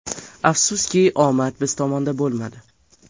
Afsuski, omad biz tomonda bo‘lmadi.